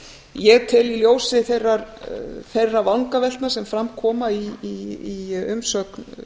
ég tel í ljósi þeirra vangaveltna sem fram koma í umsögn